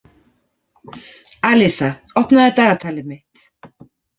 Alísa, opnaðu dagatalið mitt.